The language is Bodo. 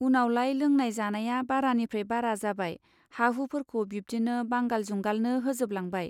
उनावलाय लोंनाय जानाया बारानिफ्राय बारा जाबाय हा हु फोरखौ बिब्दिनो बांगाल जुंगालनो होजोब लांबाय.